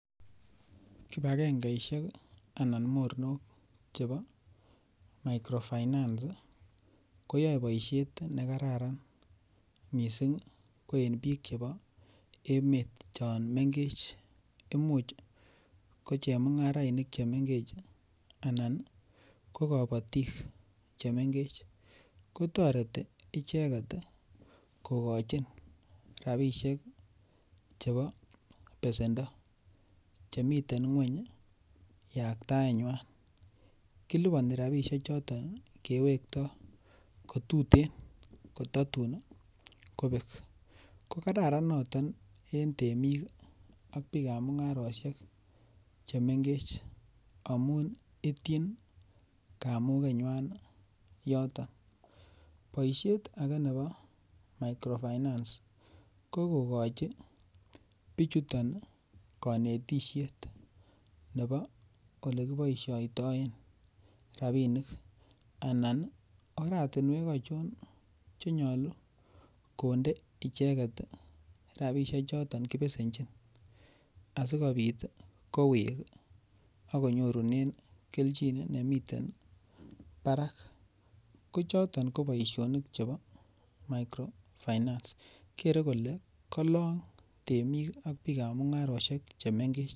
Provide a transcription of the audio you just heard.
Kibakengeishek anan mornok chebo microfinance koyoe boishet nekararan mising ko en biik chebo emet chon mengech imuch ko chemungarainik che mengech anan ko kobotik chemengech kotoreti icheket kokochin rapishek chebo besendo chemiten ng'weny yaktaet ny'wan kiliponi rapishek chotok kewektoi kotuten kotatun kobek ko kararan noton en temik ak biik ap mung'aroshek chemengechen amun itchin kamuket nywan yoton boishet ake nebo microfinance ko kokochin bichuto konetishet nebo olekiboishoitoen rapinik anan oratunwek achon chenyolu konde icheket ropishek chotok kipesenchi asikobit kowek akonyorune kelchin nemiten barak ko chotok ko boishonik chebo microfinance kere kole kalong temik ak biik ap mung'aroshek chemengech.